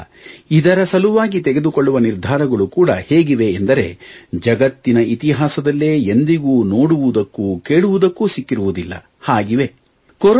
ಆದ್ದರಿಂದ ಇದರ ಸಲುವಾಗಿ ತೆಗೆದುಕೊಳ್ಳುವ ನಿರ್ಧಾರಗಳು ಕೂಡ ಹೇಗಿವೆ ಎಂದರೆ ಜಗತ್ತಿನ ಇತಿಹಾಸದಲ್ಲೇ ಎಂದಿಗೂ ನೋಡುವುದಕ್ಕೂ ಕೇಳುವುದಕ್ಕೂ ಸಿಕ್ಕಿರುವುದಿಲ್ಲ ಹಾಗಿವೆ